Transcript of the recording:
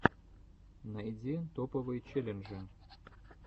найди топовые челленджи